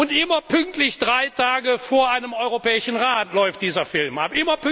Und immer pünktlich drei Tage vor einem Europäischen Rat läuft dieser Film ab!